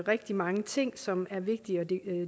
rigtig mange ting som er vigtige at